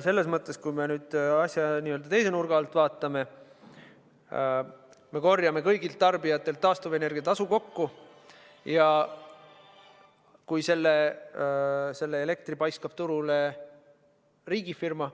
Selles mõttes, kui me nüüd asja teise nurga alt vaatame, siis me korjame kõigilt tarbijatelt taastuvenergia tasu kokku ning kui selle elektri paiskab turule riigifirma,